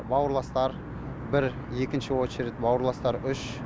бауырластар бір екінші очередь бауырсластар үш